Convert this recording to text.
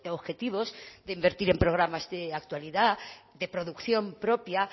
objetivos de invertir en programas de actualidad de producción propia